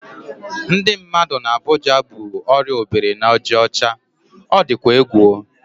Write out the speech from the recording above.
Ndị mmadụ n'Abuja bu orịa obiri-na-aja ocha. O dịkwa egwu o!